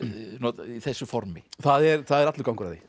í þessu formi það er það er allur gangur á því